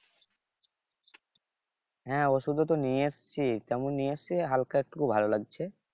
হ্যাঁ ওষুধ ও তো নিয়ে আসছি নিয়ে আসছি হালকা একটু ভালো লাগছে